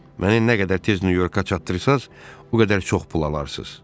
Məni nə qədər tez Nyu-Yorka çatdırırsaz, o qədər çox pul alarsız.